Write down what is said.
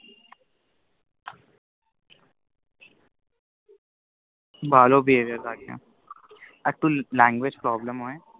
ভালো behavior একটু Language Problem হয়